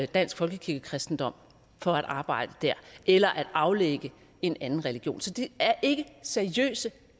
dansk folkekirkekristendom for at arbejde dér eller at aflægge en anden religion så det er ikke seriøse